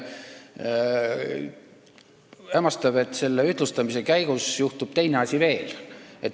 Hämmastav, et selle ühtlustamise käigus juhtub teine asi veel.